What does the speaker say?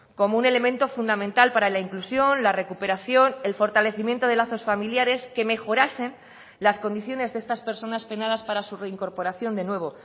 como un elemento fundamental para la inclusión la recuperación el fortalecimiento de lazos familiares que mejorasen las condiciones de estas personas penadas para su reincorporación de nuevo